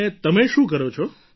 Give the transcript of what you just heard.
અને તમે શું કરો છો